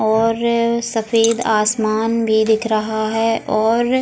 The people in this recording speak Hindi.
और अ सफेद आसमान भी दिख रहा है और --